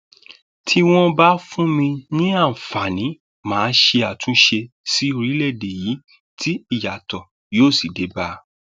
tí wọn bá fún mi ní àǹfààní mà á ṣe àtúnṣe sí orílẹèdè yìí tí ìyàtọ yóò sì bá a